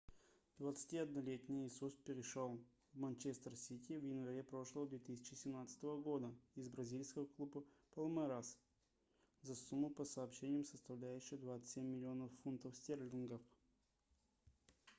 21-летний иисус перешел в манчестер сити в январе прошлого 2017 года из бразильского клуба палмейрас за сумму по сообщениям составляющую 27 миллионов фунтов стерлингов